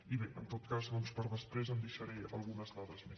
i bé en tot cas doncs per a després em deixaré algunes dades més